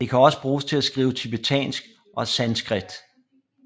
Det kan også bruges til at skrive tibetansk og sanskrit